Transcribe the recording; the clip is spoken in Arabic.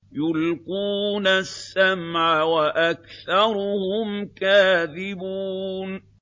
يُلْقُونَ السَّمْعَ وَأَكْثَرُهُمْ كَاذِبُونَ